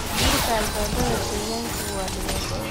Burburka albaabada digaaga waa dhibaato.